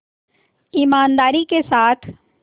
ईमानदारी के साथ